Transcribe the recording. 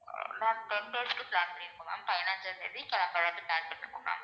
ஆஹ் ma'am ten days க்கு plan பண்ணி இருக்கோம் ma'am பதினைஞ்சாம் தேதி கிளம்பறதுக்கு plan பண்ணி இருக்கோம் ma'am